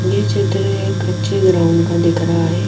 ये चित्र एक अच्छे ग्राउंड का दिख रहा है।